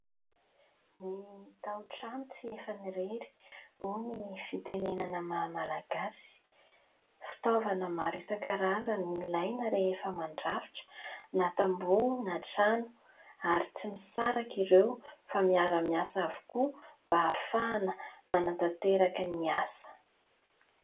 Ny taon-trano tsy efan'ny irery hoy ny fitenenana mahamalagasy. Fitaovana maro isan-karazany ilaina rehefa mandrafitra, na tamboho na trano ary tsy misaraka ireo fa miara-miasa avokoa mba hahafahana manantanteraka ny asa.